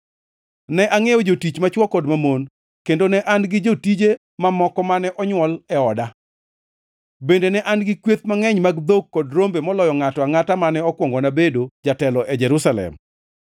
Ne angʼiewo jotich machwo kod mamon kendo ne an gi jotije mamoko mane onywol e oda. Bende ne an gi kweth mangʼeny mag dhok kod rombe moloyo ngʼato angʼata mane okuongona bedo jatelo e Jerusalem.